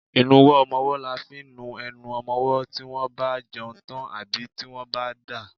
Ìnuwọ́ ọmọwọ́ là fi ń nu enu ọmọmọ́ tí wọ́n bá jẹun tán àbí tí wọ́n bá ń dà.